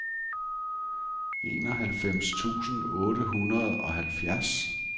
enoghalvfems tusind otte hundrede og halvfjerds